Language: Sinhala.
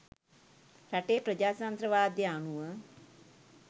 රටේ ප්‍රජාතන්ත්‍රවාදය අනුව